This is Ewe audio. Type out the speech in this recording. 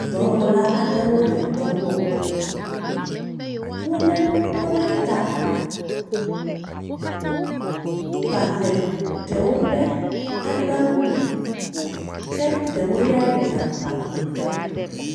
Dɔwɔla aɖewo le dɔ wɔm, wo lé nuwo ɖe ta, ba le ɖewo ƒe agbawo me, ke ɖewo ya yi na ba blu ke.